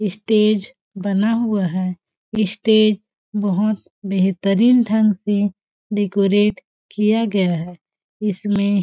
stage बना हुआ है स्टेज बहुत बेहतरीन ढंग से डेकोरेट किया गया है इसमें --